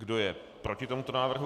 Kdo je proti tomuto návrhu?